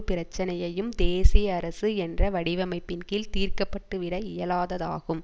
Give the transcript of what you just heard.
பிரச்சினையையும் தேசிய அரசு என்ற வடிவமைப்பின் கீழ் தீர்க்கப்பட்டுவிட இயலாததாகும்